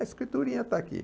A escriturinha está aqui.